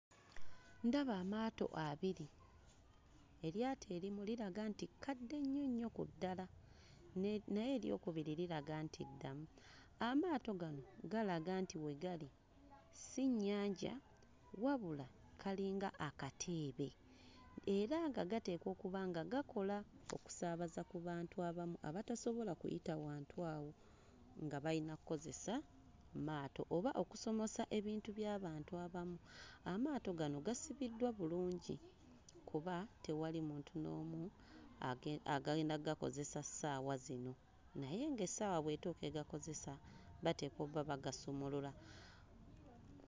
Ndaba amaato abiri; eryato erimu liraga nti kadde nnyo nnyo ku ddala naye ery'okubiri liraga nti ddamu. Amaato gano galaga nti we gali si nnyanja wabula kalinga akateebe era nga gateekwa okuba nga gakola okusaabaza ku bantu abamu abatasobola kuyita wantu awo nga bayina kkozesa maato oba okusomosa ebintu by'abantu abamu. Amaato gano gasibiddwa bulungi kuba tewali muntu n'omu age... agenda ggakozesa ssaawa zino naye ng'essaawa bw'etuuka egakozesa bateekwa obba bagasumulula.